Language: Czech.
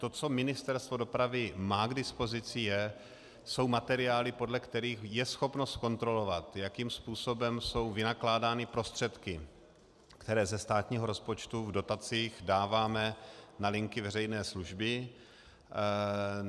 To, co Ministerstvo dopravy má k dispozici, jsou materiály, podle kterých je schopno zkontrolovat, jakým způsobem jsou vynakládány prostředky, které ze státního rozpočtu v dotacích dáváme na linky veřejné služby.